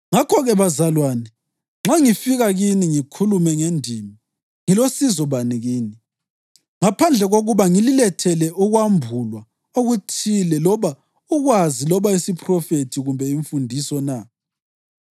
Ngakho-ke, bazalwane, nxa ngifika kini ngikhulume ngendimi, ngilosizo bani kini, ngaphandle kokuba ngililethele ukwambulwa okuthile loba ukwazi loba isiphrofethi kumbe imfundiso, na?